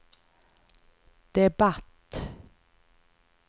debatt